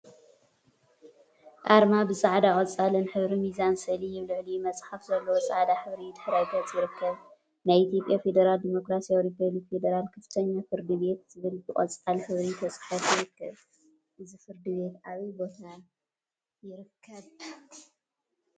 አርማ ብፃዕዳን ቆፃልን ሕብሪ ሚዛን ስእሊ አብ ልዕሊኡ መፅሓፍ ዘለዎ ፃዕዳ ሕብሪ ድሕረ ገፅ ይርከብ፡፡ “ናይ ኢትዮጵያ ፌዴራላዊ ዲሞክራሲያዊ ሪፐብሊክ ፌዴራል ከፍተኛ ፍርድ ቤት” ዝብል ብቆፃል ሕብሪ ተፃሒፉ ይርከብ፡፡ እዚ ፍርድ ቤት አበይ ቦታ ይርከብ?